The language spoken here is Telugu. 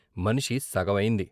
మనిషి సగవైంది.